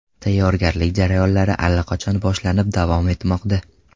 Tayyorgarlik jarayonlari allaqachon boshlanib, davom etmoqda.